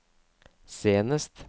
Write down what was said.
senest